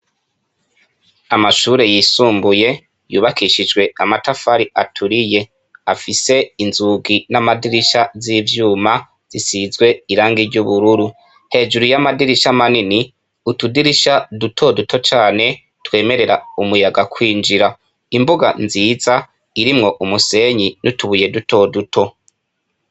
Amashure yisumbuye yubakishijwe amatafari aturiye. afise inzugi namadirisha zivyuma zisizwe Irangi ryubururu hejuru ya amadirisha manini , utudirisha dutoduto cane twemerera umuyaga kwinjira ,imbuga nziza irimwo umusenyi nutubuye duto duto.